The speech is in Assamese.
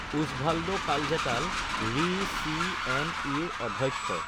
ওছভাল্ডোকালজেটাল ৰি, চিএনইএ, অধ্যক্ষ